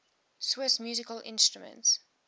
swiss musical instruments